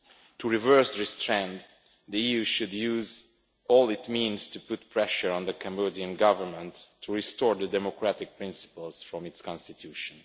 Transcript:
To reverse this trend, the EU should use all its means to put pressure on the Cambodian Government to restore the democratic principles from its Constitution.